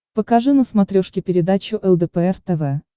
покажи на смотрешке передачу лдпр тв